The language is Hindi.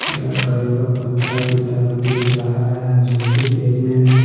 हरे कलर के पत्ता की तरह दिख रहा है जोकि देखने में--